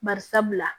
Bari sabula